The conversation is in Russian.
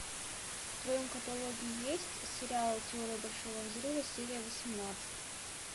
в твоем каталоге есть сериал теория большого взрыва серия восемнадцать